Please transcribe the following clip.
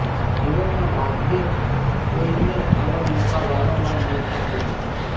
જીવનમાં ભાગ્યે જ કોઈને આવા મોકા વારંવાર મળતા હોય છે